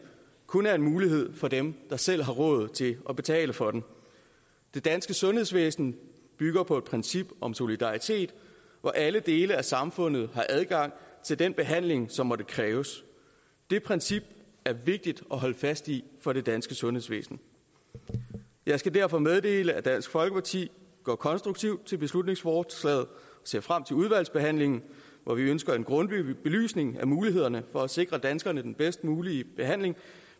kun er en mulighed for dem der selv har råd til at betale for den det danske sundhedsvæsen bygger på et princip om solidaritet hvor alle dele af samfundet har adgang til den behandling som måtte kræves det princip er vigtigt at holde fast i for det danske sundhedsvæsen jeg skal derfor meddele at dansk folkeparti går konstruktivt til beslutningsforslaget og ser frem til udvalgsbehandlingen hvor vi ønsker en grundig belysning af mulighederne for at sikre danskerne den bedst mulige behandling